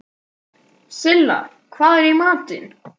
Silla, hvað er í matinn?